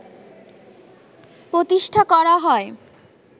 প্রতিষ্ঠা করা হয়